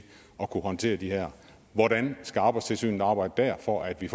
at kunne håndtere det her hvordan skal arbejdstilsynet arbejde der for at vi